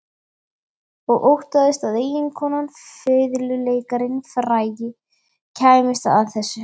Og óttaðist að eiginkonan, fiðluleikarinn frægi, kæmist að þessu.